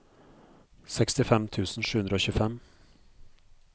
sekstifem tusen sju hundre og tjuefem